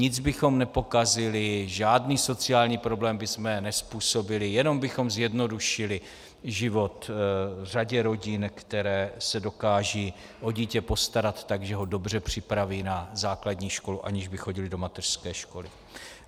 Nic bychom nepokazili, žádný sociální problém bychom nezpůsobili, jenom bychom zjednodušili život řadě rodin, které se dokážou o dítě postarat tak, že ho dobře připraví na základní školu, aniž by chodilo do mateřské školy.